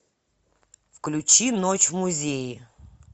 включи ночь в музее